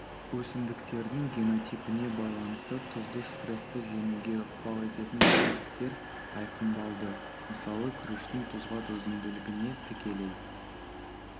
өсімдіктердің генотипіне байланысты тұзды стрессті жеңуге ықпал ететін тетіктер айқындалды мысалы күріштің тұзға төзімділігіне тікелей